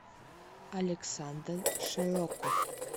александр широков